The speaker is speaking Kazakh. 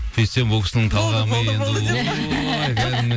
сөйтсем бұл кісінің талғамы